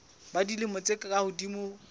ba dilemo tse ka hodimo